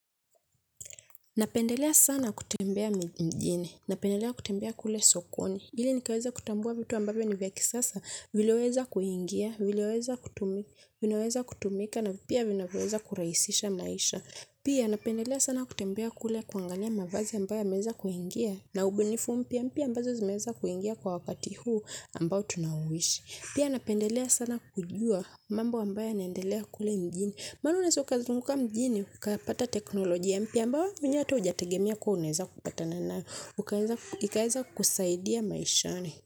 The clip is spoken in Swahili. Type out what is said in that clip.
Napendelea sana kutembea mjini, napendelea kutembea kule sokoni, ili nikaweze kutambua vitu ambavo ni vya kisasa, vileweza kuingia, vileweza kutumika, vinaweza kutumika, na pia vinavyo weza kuraisisha maisha. Pia napendelea sana kutembea kule kuangalia mavazi ambayo yameweza kuingia na ubunifu mpya ambazo zimeweza kuingia kwa wakati huu ambayo tunauishi. Pia napendelea sana kujua mambo ambayo yaneendelea kule mjini. Mana unaweza ukazunguka mjini, ukapata teknolojia mpya ambayo mwenyewe hata ujategemea kuwa uneza kupatana nayo. Ikaeza kukusaidia maishani.